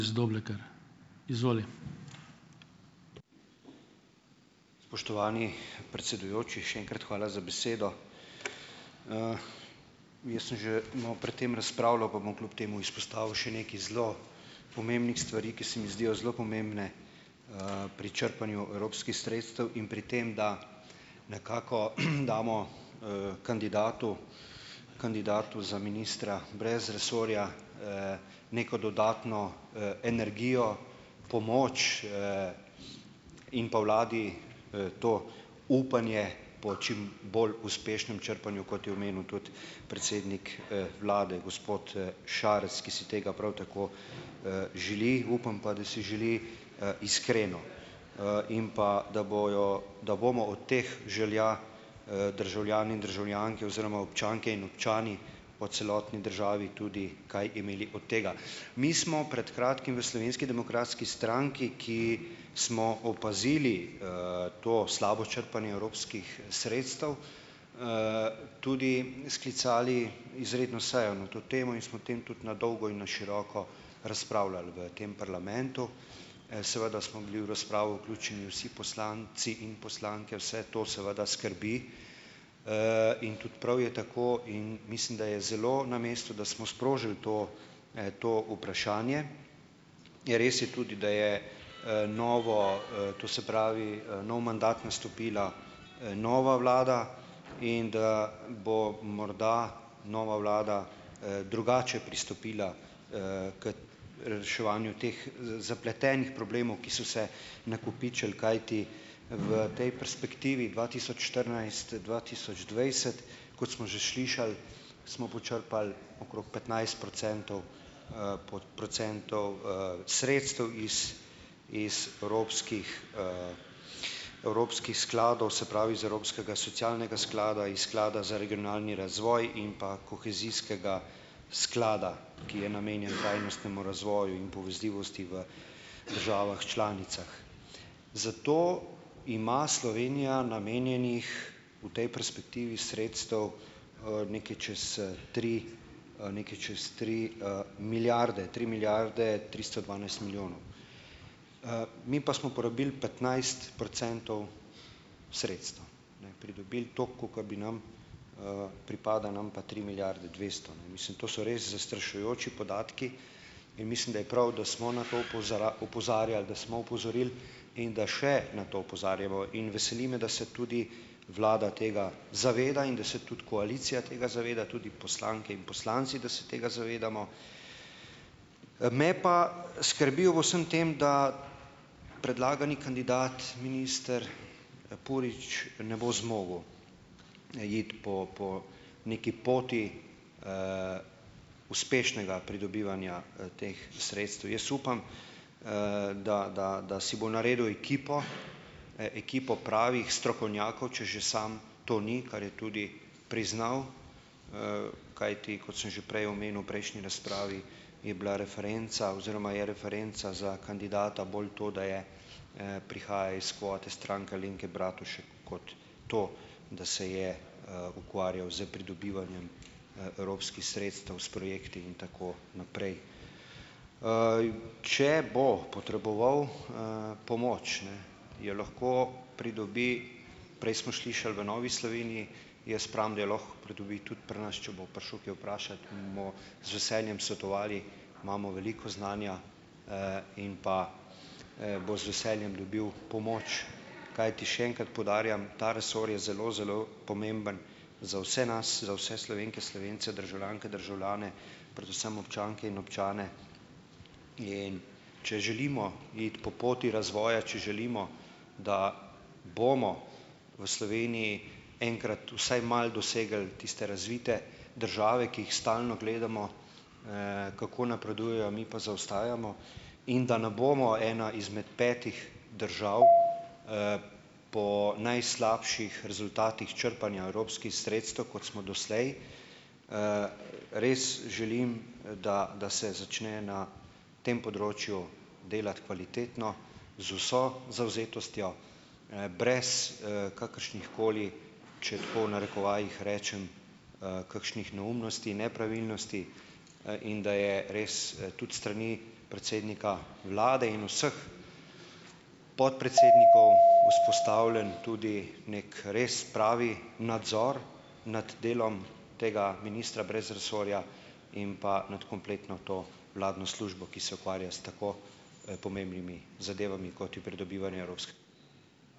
Spoštovani predsedujoči, še enkrat hvala za besedo. Jaz sem že malo pred tem razpravljal, pa bom kljub temu izpostavil še nekaj zelo pomembnih stvari, ki se mi zdijo zelo pomembne, pri črpanju evropskih sredstev in pri tem, da nekako damo, kandidatu, kandidatu za ministra brez resorja, neko dodatno, energijo, pomoč, in pa vladi, to upanje po čim bolj uspešnem črpanju, kot je omenil tudi predsednik, vlade, gospod, Šarec, ki si tega prav tako, želi. Upam pa, da si želi, iskreno, in pa da bojo, da bomo od teh želja, državljani in državljanke oziroma občanke in občani po celotni državi tudi kaj imeli od tega. Mi smo pred kratkim v Slovenski demokratski stranki, ki smo opazili, to slabo črpanje evropskih sredstev, tudi sklicali izredno sejo na to temo in smo o tem tudi na dolgo in na široko razpravljali v tem parlamentu. Seveda smo bili v razpravo vključeni vsi poslanci in poslanke, vse to seveda skrbi, in tudi prav je tako, in mislim, da je zelo na mestu, da smo sprožili to, to vprašanje, je res je tudi, da je, novo, to se pravi, nov mandat nastopila, nova vlada in da bo morda nova vlada, drugače pristopila, k reševanju teh zapletenih problemov, ki so se nakopičili, kajti v tej perspektivi dva tisoč štirinajst- dva tisoč dvajset kot smo že slišali, smo počrpali okrog petnajst procentov, procentov, sredstev iz, iz evropskih, evropskih skladov, se pravi, iz evropskega sklada socialnega, iz sklada za regionalni razvoj in pa kohezijskega sklada, ki je namenjen trajnostnemu razvoju in povezljivosti v državah članicah. Za to ima Slovenija namenjenih v tej perspektivi sredstev, nekaj čez tri, nekaj čez tri, milijarde - tri milijarde tristo dvanajst milijonov. Mi pa smo porabili petnajst procentov sredstev, ne. Pridobili toliko, kolikor bi nam, pripada nam pa tri milijarde dvesto, ne, mislim, to so res zastrašujoči podatki in mislim, da je prav, da smo na to opozarjali, da smo opozoril in da še na to opozarjamo, in veseli me, da se tudi vlada tega zaveda in da se tudi koalicija tega zaveda, tudi poslanke in poslanci, da se tega zavedamo. Me pa skrbi ob vsem tem, da predlagani kandidat, minister Purič, ne bo zmogel iti po po neki poti, uspešnega pridobivanja teh sredstev. Jaz upam, da, da, da si bo naredil ekipo, ekipo pravih strokovnjakov, če že sam to ni, kar je tudi priznal, kajti kot sem že prej omenil, prejšnji razpravi, je bila referenca oziroma je referenca za kandidata bolj to, da je, prihaja iz kvote Stranke Alenke Bratušek kot to, da se je, ukvarjal s pridobivanjem, evropskih sredstev, s projekti in tako naprej. Če bo potreboval, pomoč, ne, jo lahko pridobi, prej smo slišali, v Novi Sloveniji. Jaz pravim, da jo lahko pridobi tudi pri nas, če bo prišel kaj vprašat, mu bomo z veseljem svetovali, imamo veliko znanja, in pa, bo z veseljem dobil pomoč, kajti, še enkrat poudarjam, ta resor je zelo, zelo pomemben za vse nas, za vse Slovenke, Slovence, državljanke, državljane, predvsem občanke in občane, in če želimo iti po poti razvoja, če želimo, da bomo v Sloveniji enkrat vsaj malo dosegli tiste razvite države, ki jih stalno gledamo, kako napredujejo, mi pa zaostajamo, in da ne bomo ena izmed petih držav, po najslabših rezultatih črpanja evropskih sredstev, kot smo doslej. Res želim, da da se začne na tem področju delati kvalitetno, z vso zavzetostjo, brez, kakršnih koli, če tako v narekovajih rečem, "kakšnih neumnosti, nepravilnosti", in da je res, tudi s strani predsednika vlade in vseh podpredsednikov, vzpostavljen tudi neki res pravi nadzor nad delom tega ministra brez resorja in pa nad kompletno to vladno službo, ki se ukvarja s tako, pomembnimi zadevami, kot je pridobivanje evropske ...